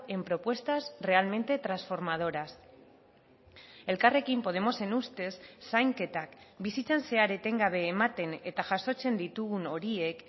en propuestas realmente transformadoras elkarrekin podemosen ustez zainketak bizitzan zehar etengabe ematen eta jasotzen ditugun horiek